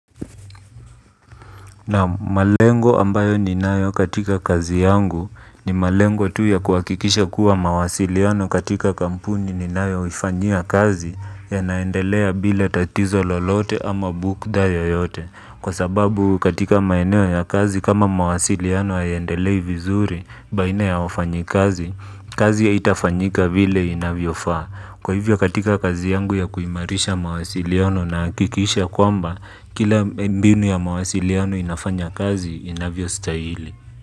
Na malengo ambayo ninayo katika kazi yangu ni malengo tu ya kuhakikisha kuwa mawasiliano katika kampuni ninayo ifanyia kazi yanaendelea bila tatizo lolote ama bukda yeyote. Kwa sababu katika maeneo ya kazi kama mawasiliano hayaendelei vizuri baina ya wafanyi kazi, kazi haitafanyika vile inavyofa. Kwa hivyo katika kazi yangu ya kuimarisha mawasiliano nahakikisha kwamba kila mbinu ya mawasiliano inafanya kazi inavyostahili.